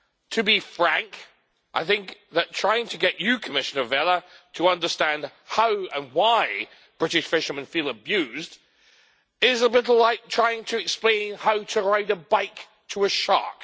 To be frank, I think that trying to get you, Commissioner Vella, to understand how and why British fishermen feel abused is a little like trying to explain how to ride a bike to a shark.